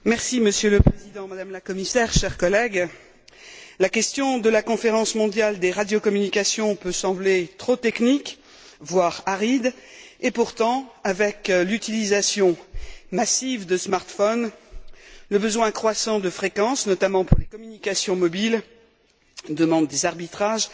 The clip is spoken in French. Monsieur le Président, Madame la Commissaire, chers collègues, la question de la Conférence mondiale des radiocommunications peut sembler trop technique, voire aride, et pourtant, l'utilisation massive de et le besoin croissant de fréquences, notamment pour les communications mobiles, demandent des arbitrages